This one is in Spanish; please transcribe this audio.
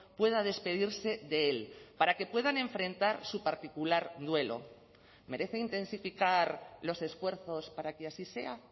pueda despedirse de él para que puedan enfrentar su particular duelo merece intensificar los esfuerzos para que así sea